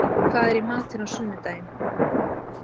Simmi, hvað er í matinn á sunnudaginn?